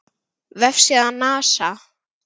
Vefsíða NASA.